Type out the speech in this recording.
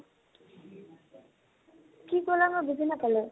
কি কলা মই বুজি নাপালো